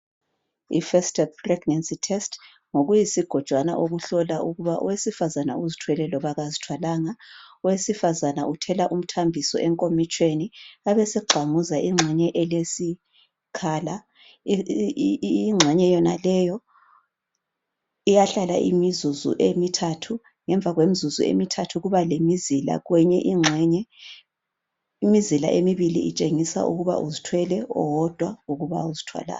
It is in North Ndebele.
IFirst Step Pregnancy test, ngokuyizigojwana okuhlolwa ukuba owesifazana uzithwele loba kazithwalanga. Owesifazana uthela umthambiso enkomitshini. Abesegxamuza ingxenye elesikhala. Ingxenye yonaleyo, iyahlala imizuzu emithathu. Ngemva kwemizuzu emithathu. Ngemva kwemizuzu emithathu, kuba lemizila kwenye ingxenye. Imizila emibili, itshengisa ukuba uzithwele. Owodwa, ukuba kazithwalanga.